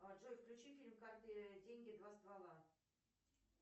джой включи фильм карты деньги два ствола